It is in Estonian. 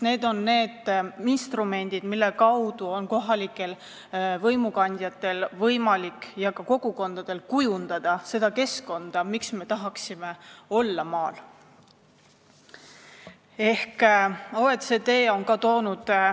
Need on ju need instrumendid, mille kaudu on kohalikel võimukandjatel ja ka kogukondadel võimalik kujundada keskkonda ja seda, miks me tahaksime maal olla.